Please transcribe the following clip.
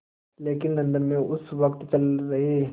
लेकिन लंदन में उस वक़्त चल रहे